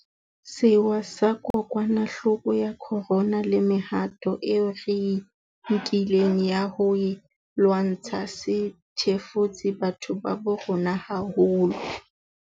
Sewa sa kokwanahloko ya corona le mehato eo re e nkileng ya ho e lwantsha se thefutse batho ba bo rona haholo.